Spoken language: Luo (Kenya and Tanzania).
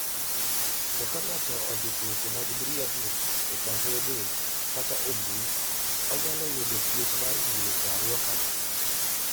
To ka ng'ato ondiko weche mag miriambo e gasede kata e mbui, onyalo yudo twech mar higni 20 kama.